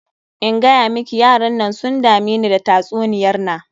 In gayamiki yaran nan sun dameni da tatsuniyar na.